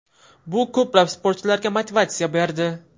Bu ko‘plab sportchilarga motivatsiya berdi.